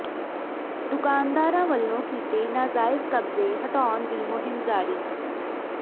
ਦੁਕਾਨਦਾਰਾਂ ਵੱਲੋਂ ਕੀਤੇ ਨਾਜਾਇਜ਼ ਕਬਜ਼ੇ ਹਟਾਉਣ ਦੀ ਮੁਹਿੰਮ ਜਾਰੀ